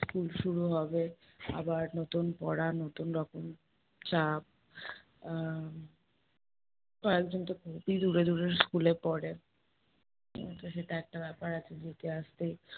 school শুরু হবে আবার নতুন পড়া, নতুন রকম চাপ। আহ কয়েকজন তো খুবই দূরে দূরের school এ পড়ে উহ তো সেটা একটা ব্যাপার আছে, যেতে আসতে